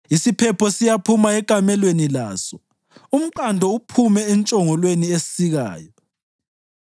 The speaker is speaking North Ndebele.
Isiphepho siyaphuma ekamelweni laso, umqando uphume entshongolweni esikayo.